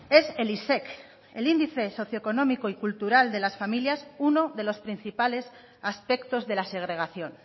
es el isec el índice socio económico y cultural de las familias uno de los principales aspectos de la segregación